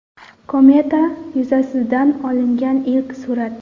Kometa yuzasidan olingan ilk surat .